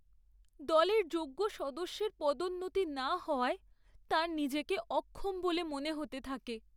দলের যোগ্য সদস্যের পদোন্নতি না হওয়ায় তাঁর নিজেকে অক্ষম বলে মনে হতে থাকে।